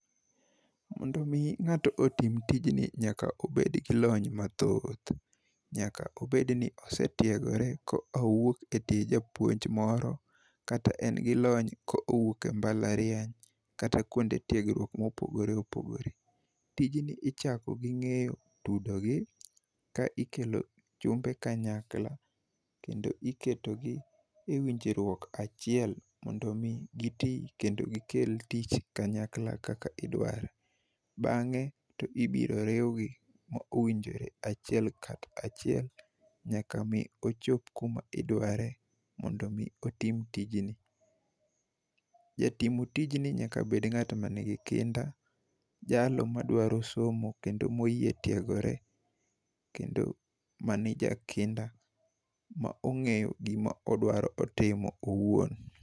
Mondo mi ng'ato otii tijni nyaka obed gi lony mathoth. Nyaka obed ni osetiegore kowuok e tie japuonj moro, kata en gi lony kowuok e mbalariany, kata kuonde tiegruok mopogore opogore .Tijni ichako gi ng'eyo tudogi ka ikelo chumbe kanyakla, kendo iketogi e winjruok achiel mondo mi gitii kendo gikel tich kanyakla kaka idware. Bang'e to ibiro riwgi achiel kachiel nyaka ochopo kuma idware mondo mi otim tijni. Jatim tijni nyaka bed ngama nigi kinda jalo madwaro somo kendo moyie tiegore kendo mane jakinda ma ong'eyo gima odwaro timo owuon.